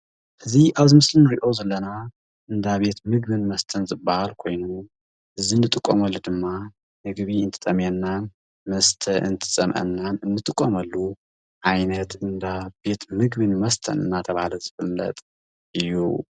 እዚ ኣብዚ ምስሊ ውሽጢ ንሪኦ ዘለና እንዳ ቤት ምግቢን መስተን ዝበሃል ኮይኑ ፤ እዚ እንጥቀመሉ ድማ ምግቢ እንትጠምየናን መስተ እንትፀምአናን እንጥቀመሉ ዓይነት እንዳ ቤት ምግቢን መስተን እናተብሃለ ዝፍለጥ እዩ፡፡